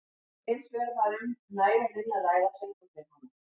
Ef hins vegar var um næga vinnu að ræða fengu þeir hana.